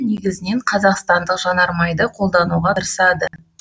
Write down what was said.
негізінен қазақстандық жанармайды қолдануға ырсады